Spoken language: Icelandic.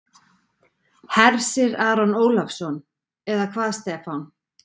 Hersir Aron Ólafsson: Eða hvað Stefán?